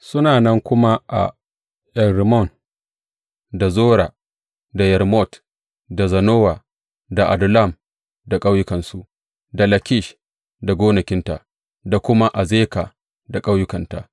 Suna nan kuma a En Rimmon, da Zora, da Yarmut, da Zanowa, da Adullam da ƙauyukansu, da Lakish da gonakinta, da kuma Azeka da ƙauyukanta.